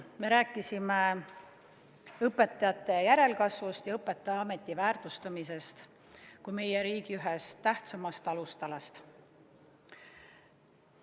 Me rääkisime õpetajate järelkasvust ja õpetajaameti väärtustamisest kui meie riigi ühest tähtsamast alustalast.